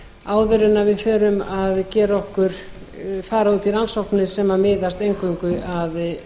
áður en við förum að fara út í rannsóknir sem miðast eingöngu